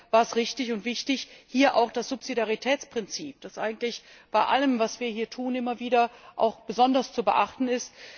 Deshalb war es richtig und wichtig, hier auch das Subsidiaritätsprinzip zu beachten, das eigentlich bei allem, was wir hier tun, immer wieder besonders zu beachten ist.